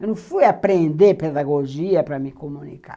Eu não fui aprender pedagogia para me comunicar.